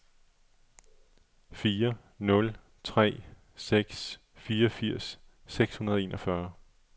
fire nul tre seks fireogfirs seks hundrede og enogfyrre